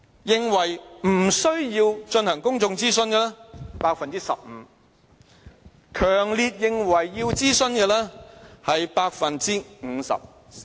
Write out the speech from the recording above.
認為不需要進行公眾諮詢的有 15%， 強烈認為需要諮詢的是 50%......